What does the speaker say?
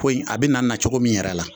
Ko in a bɛ na nacogo min yɛrɛ la